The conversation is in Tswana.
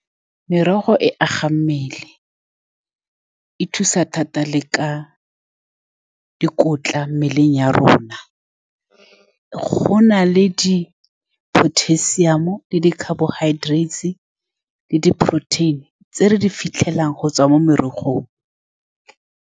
Merogo e aga mmele e thusa thata le ka dikotla mo mmeleng ya rona. Go na le di-potassium-o le di-carbohydrates le di-protein-i tse re di fitlhelang go tswa mo merogong.